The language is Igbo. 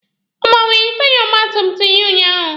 Ọ gbanwere taya ọgba tum tum ya unyaahụ?